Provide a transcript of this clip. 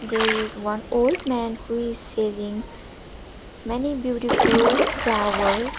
there is one old man who is selling many beautiful flowers.